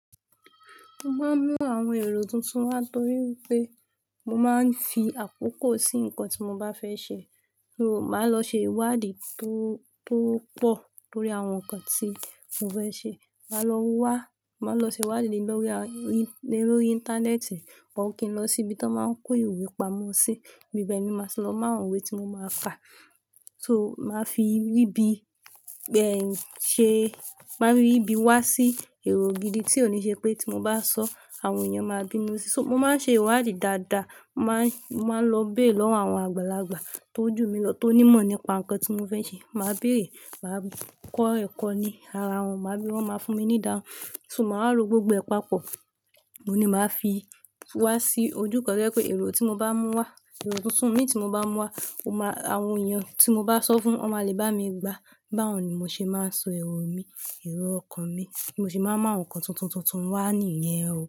Mo máa ń mú àwọn èrò tuntun wá torí pé mo máa ń fi àkókò sí nǹkan tí mo bá fẹ́ ṣe. N o máa lọ ṣe ìwádìí tó, tó pọ̀ lórí àwọn nǹkan tí mo fẹ́ ṣe. Máa lọ wá, máa lọ ṣe ìwádìí lórí, lórí Íńtánẹ́ẹ̀tì ó kí n lọ síbi tí wọ́n máa ń kó ìwé pamọ́ sí, ibi bẹ́ẹ̀ ni màá ṣe lọ mú àwọn ìwé tí mo máa fà. So màá fi ríbi bẹ́ẹ̀ ṣe, màá rí ibi wá sí èrò gidi tí ó níṣe pé tí mo bá sọ́, àwọn èèyàn máa bínú sí. So mo máa ń ṣe ìwádìí dáadáa, mà á, mà á lọ béè lọ́wọ́ àwọn àgbàlagbà tó jù mí lọ tó ní mọ̀ nípa nǹkan tí mo fẹ́ ṣe. Mà á béèrè, mà á kọ́ ẹ̀kọ́ ni ara wọn, mà á bí wọn máa fún mi ní ìdáhùn. So màá wa lo gbogbo ẹ̀ pàpọ, oun ni màá fi wá sí ojú kan to jẹ́ pé èrò tí mo bá mú wá, èrò tuntun imi tí mo bá mú wá, ó máa, àwọn èèyàn tí mo bá sọ fún, wọ́n máa le bá mi gba. Báwo ni mo ṣe máa ń so èrò mi, èrò ọkàn mi, bí mo ṣe máa ń mú nǹkan tuntun tuntun wá nìyẹn.